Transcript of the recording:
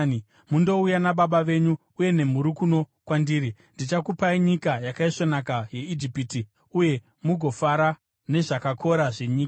mundouya nababa venyu uye nemhuri kuno kwandiri. Ndichakupai nyika yakaisvonaka yeIjipiti uye mugofara nezvakakora zvenyika.’